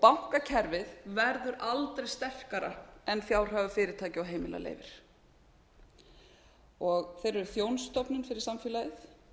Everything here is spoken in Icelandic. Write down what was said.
bankakerfið verður aldrei sterkara en fjárhagur fyrirtækja og heimila leyfir þeir eru þjónustustofnun fyrir samfélagið